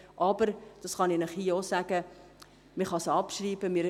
Ich kann Ihnen hier auch sagen, dass man sie abschreiben kann.